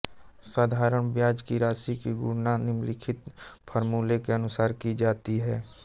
साधारण ब्याज की राशि की गणना निम्नलिखित फ़ॉर्मूले के अनुसार की जाती है